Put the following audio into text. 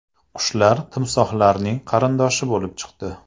Qushlar timsohlarning qarindoshi bo‘lib chiqdi.